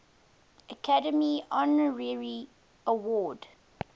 academy honorary award